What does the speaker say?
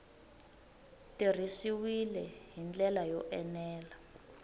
tirhisiwile hi ndlela yo enela